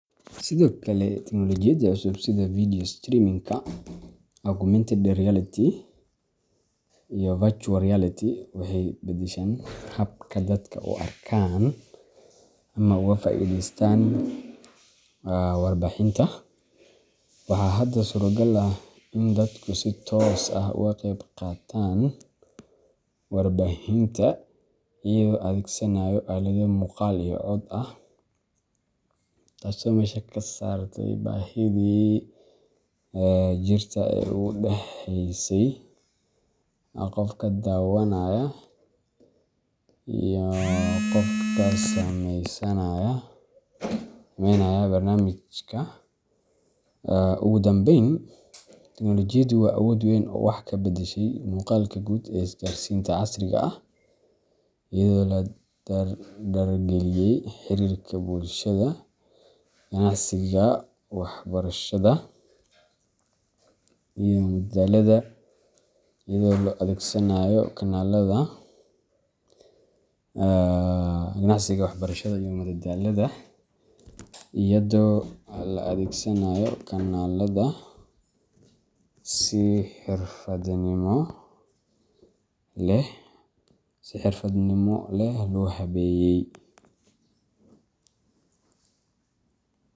Sidoo kale, tignolojiyada cusub sida video streaming-ka, augmented reality , iyo virtual reality waxay beddesheen habka dadka u arkaan ama uga faa’iideystaan warbaahinta. Waxaa hadda suuragal ah in dadku si toos ah uga qayb qaataan warbaahinta iyagoo adeegsanaya aalado muuqaal iyo cod ah, taasoo meesha ka saartay baahidii jirta ee u dhaxeysay qofka daawanaya iyo qofka sameynaya barnaamijka. Ugu dambeyn, tignolojiyadu waa awood weyn oo wax ka beddeshay muuqaalka guud ee isgaarsiinta casriga ah, iyadoo la dardargeliyay xiriirka bulshada, ganacsiga, waxbarashada, iyo madadaalada iyadoo la adeegsanayo kanaalada si xariifnimo leh loo habeeyay.